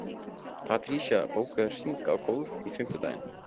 Patrisía, bókaðu hring í golf á fimmtudaginn.